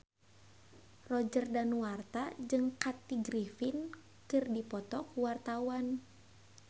Roger Danuarta jeung Kathy Griffin keur dipoto ku wartawan